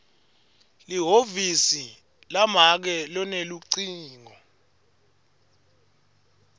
lihhovisi lamake lunelucingo